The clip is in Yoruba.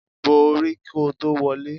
Bo orí kò tó wọlé.